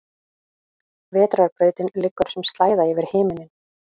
Vetrarbrautin liggur sem slæða yfir himinninn.